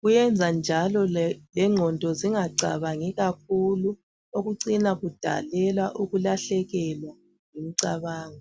kuyrnza njalo lenqondo zinga cabangi kakhulu okucina kudalela ukulahlekelwa ngumcabangi.